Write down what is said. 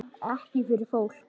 Ekki fyrir fólk?